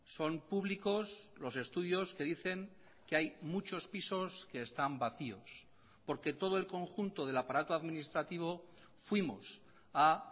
son públicos los estudios que dicen que hay muchos pisos que están vacíos porque todo el conjunto del aparato administrativo fuimos a